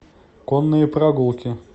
конные прогулки